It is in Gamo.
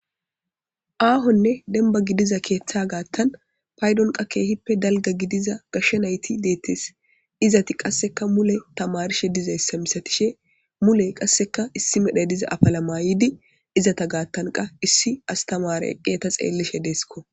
Ahone demba gidiza keetha gathan paydon was keehipe dalga gidiza gashe nayti deetes izeti was mule tamarishe dizaysaisatishe mule qaseka issi medhoy fiza afala mayidi izeta gathan was issi astamarey eqi ista xelishe desko